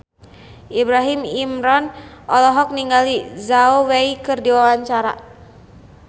Ibrahim Imran olohok ningali Zhao Wei keur diwawancara